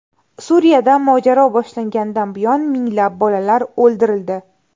Suriyada mojaro boshlanganidan buyon minglab bolalar o‘ldirildi.